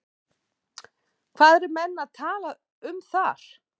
Hvað eru menn að tala um þar?